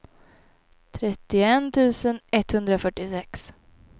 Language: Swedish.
trettioett tusen etthundrafyrtiosex